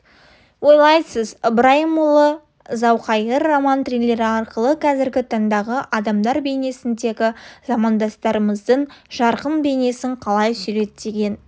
ойлайсыз ыбырайымұлы зауқайыр роман-триллері арқылы қазіргі таңдағы адамдар бейнесіндегі замандастарымыздың жарқын бейнесін қалай суреттеген